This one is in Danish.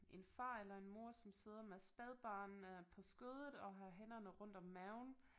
En far eller en mor som sidder med spædbarn øh på skødet og har hænderne rundt om maven